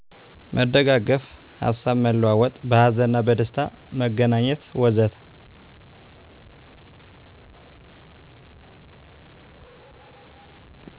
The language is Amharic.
መደጋገፍ፣ ሀሳብ መለዋወጥ፣ በሀዘንና በደስታ መገናኘት ወዘተ።